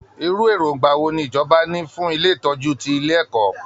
Irú èròǹgbà wo ni ìjọba ní fún ilé ìtọ́jú ti ilé ẹ̀kọ́?